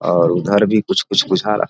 और उधर भी कुछ-कुछ बुझा --